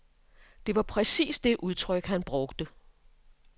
Det var præcis det udtryk, han brugte.